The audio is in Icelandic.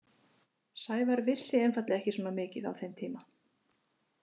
Sævar vissi einfaldlega ekki svona mikið á þeim tíma.